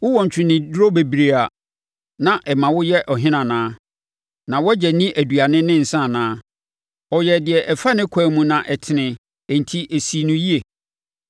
“Wowɔ ntweneduro bebree a na ɛma woyɛ ɔhene anaa? Na wʼagya nni aduane ne nsã anaa? Ɔyɛɛ deɛ ɛfa ne ɛkwan mu na ɛtene, enti ɛsii no yie.